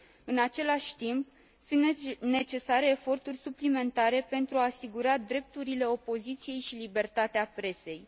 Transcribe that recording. În același timp, sunt necesare eforturi suplimentare pentru a asigura drepturile opoziției și libertatea presei.